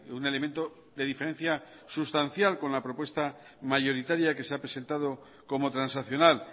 un elemento de diferencia sustancial con la propuesta mayoritaria que se ha presentado como transaccional